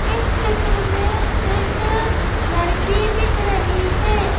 इस चित्र में एक लड़की दिख रही है।